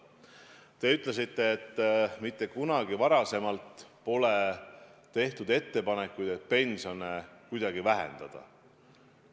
Te ütlesite, et mitte kunagi pole tehtud ettepanekuid pensione kuidagi vähendada.